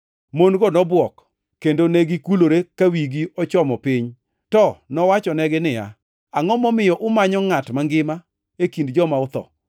Mon-go nobwok kendo negikulore ka wigi ochomo piny, to nowachonegi niya, “Angʼo momiyo umanyo ngʼat mangima e kind joma otho?